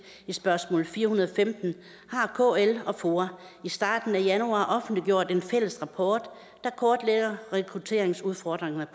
i spørgsmål s fire hundrede og femten har kl og foa i starten af januar offentliggjort en fælles rapport der kortlægger rekrutteringsudfordringen